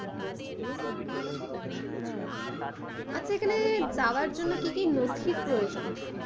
আচ্ছা এখানে যাবার জন্য কি কি নথির প্রয়োজন।